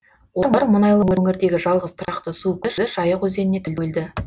олар мұнайлы өңірдегі жалғыз тұрақты су көзі жайық өзеніне тәуелді